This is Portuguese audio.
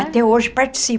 Até hoje participo.